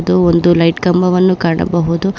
ಇದು ಒಂದು ಲೈಟ್ ಕಂಬವನ್ನು ಕಾಣಬಹುದು.